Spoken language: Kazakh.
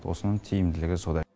осының тиімділігі сода